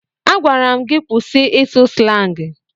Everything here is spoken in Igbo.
Agwara m gị kwụsị ịsụ slangị!